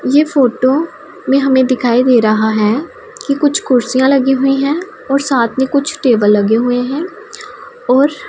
ये फोटो में हमें दिखाई दे रहा है कि कुछ कुर्सियां लगी हुई है और साथ में कुछ टेबल लगे हुए हैं और--